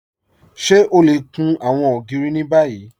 Ṣé ọ lẹ kún àwọn ogìrì ni báyì?